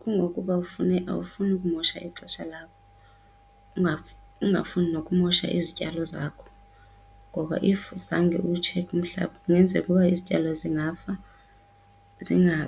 Kungokuba awufuni kumosha ixesha lakho, ungafuni nokumosha izityalo zakho. Ngoba if zange uwutshekhe umhlaba kungenzeka uba izityalo zingafa,